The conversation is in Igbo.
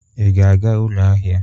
Ị ga-aga ụlọ ahịa?